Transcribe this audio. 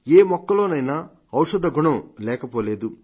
ఏ మొక్కలోనైనా ఔషధ గుణం లేకపోలేదు